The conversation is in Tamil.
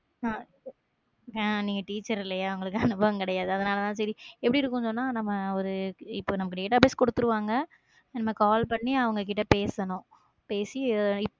ஆஹ் நீங்க teacher இல்லையா உங்களுக்கு அனுபவம் கிடையாது. அதனாலதான் சரி, எப்படி இருக்கும்னு சொன்னா நம்ம ஒரு, இப்ப நம database கொடுத்துருவாங்க நம்ம call பண்ணி அவங்க கிட்ட பேசணும் பேசி